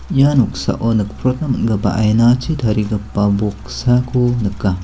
ia noksao nikprotna man·gipa ainachi tarigipa boksako nika.